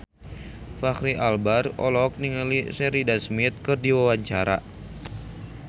Fachri Albar olohok ningali Sheridan Smith keur diwawancara